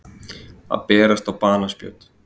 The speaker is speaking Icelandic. Að berast á banaspjót